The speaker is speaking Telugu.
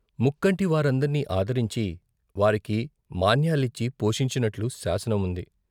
ముక్కంటి వారందర్నీ అదరించి వారికి మాన్యాలిచ్చి పోషించినట్లు శాసనం ఉంది.